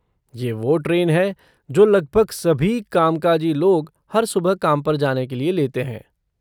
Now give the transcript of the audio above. ये वो ट्रेन है जो लगभग सभी कामकाजी लोग हर सुबह काम पर जाने के लिए लेते हैं।